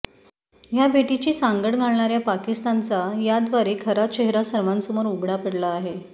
ह्या भेटीची सांगड घालणाऱ्या पाकिस्तानचा याद्वारे खरा चेहरा सर्वांसमोर उघडा पडला आहे